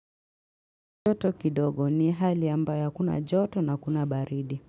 Joto kidogo ni hali ambayo hakuna joto na hakuna baridi.